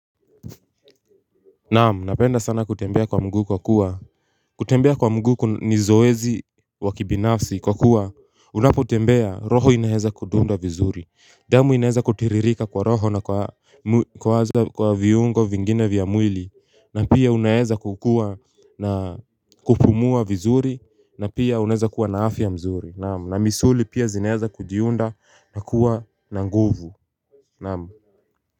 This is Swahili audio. Naam, napenda sana kutembea kwa mguu kwa kuwa kutembea kwa mguu ni zoezi wa kibinafsi kwa kuwa unapotembea roho inaweza kudunda vizuri. Damu inaweza kutiririka kwa roho na kwa viungo vingine vya mwili. Na pia unaweza kukuwa na kupumua vizuri na pia unaweza kuwa na afya mzuri. Naam, na misuli pia zinaweza kujiunda na kuwa na nguvu. Naam.